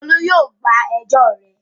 Olú yóò gba ẹjọ́ rẹ.